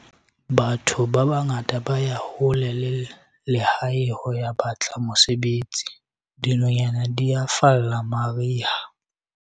batho ba bangata ba ya hole le lehae ho ya batla mosebetsi, dinonyana di a falla mariha